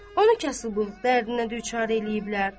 Onu kasıbçılıq dərdinə düçar eləyiblər.